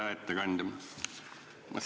Hea ettekandja!